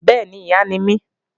Bẹ́ẹ̀ni, Ìyá mi nìí